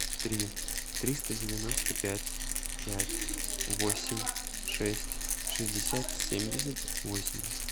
три триста девяносто пять пять восемь шесть шестьдесят семьдесят восемь